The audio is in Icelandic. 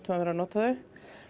að vera að nota þau